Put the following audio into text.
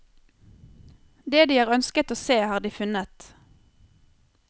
Det de har ønsket å se, har de funnet.